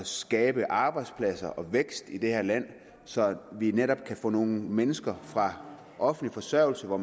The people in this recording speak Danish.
skabe arbejdspladser og vækst i det her land så vi netop kan få nogle mennesker fra offentlig forsørgelse hvor